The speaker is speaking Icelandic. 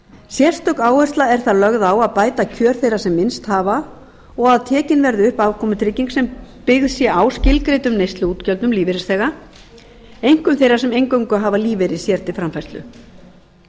sérstök áhersla er þar lögð á að bæta kjör þeirra sem minnst hafa og að tekin verði upp afkomutrygging sem byggð sé á skilgreindum neysluútgjöldum lífeyrisþega einkum þeirra sem eingöngu hafa lífeyri sér til framfærslu lagt